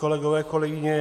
Kolegové, kolegyně.